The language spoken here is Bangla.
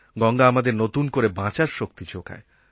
গঙ্গা আমাদের নতুন করে বাঁচার শক্তি যোগায়